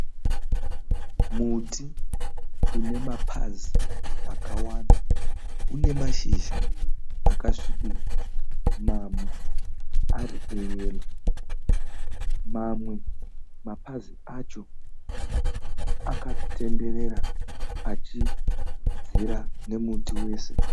Muti une mapazi akawanda une mashizha akasvibirira, mamwe ari eyero, mamwe mapazi acho akatenderera achidzira nemuti wese.